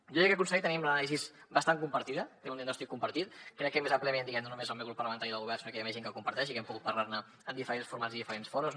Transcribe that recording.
jo crec que conseller tenim l’anàlisi bastant compartida té un diagnòstic compartit crec que més àmpliament no només el meu grup parlamentari i del govern sinó que hi ha més gent que ho comparteix i que hem pogut parlar ne en diferents formats i diferents fòrums